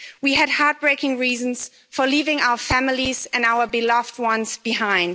We had heart breaking reasons for leaving our families and our beloved ones behind.